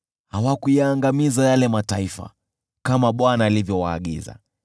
Hawakuyaangamiza yale mataifa kama Bwana alivyowaagiza,